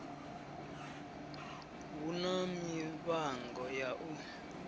hu na mivhango ya u